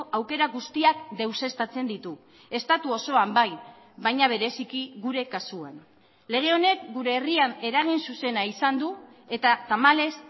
aukera guztiak deuseztatzen ditu estatu osoan bai baina bereziki gure kasuan lege honek gure herrian eragin zuzena izan du eta tamalez